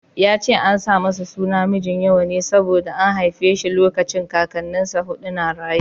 Ya ce an sa masa suna Mijinyawa ne saboda an haife shi lokacin Kakannin sa huɗu na raye.